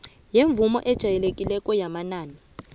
semvumo ejayelekileko yamanani